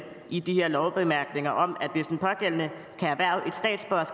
i de her lovbemærkninger om at hvis den pågældende